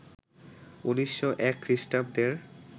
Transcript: ১৯০১ খ্রিস্টাব্দের